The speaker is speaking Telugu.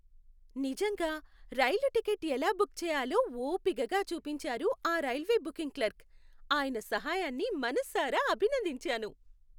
నిజంగా.. రైలు టికెట్ ఎలా బుక్ చేయాలో ఓపికగా చూపించారు ఆ రైల్వే బుకింగ్ క్లర్క్. ఆయన సహాయాన్ని మనసారా అభినందించాను.